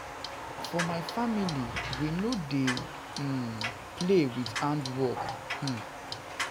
For my family we no dey um play with hard work. um